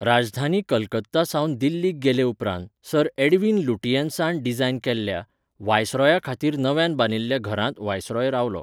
राजधानी कलकत्ता सावन दिल्लीक गेले उपरांत, सर एडविन लुटियेन्सान डिजायन केल्ल्या, व्हायसरॉया खातीर नव्यान बांदिल्ल्या घरांत व्हायसरॉय रावलो.